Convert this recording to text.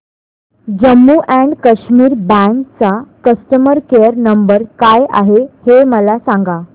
Jammu and Kashmir bank चा customer care number काय आहे हे मला सांगा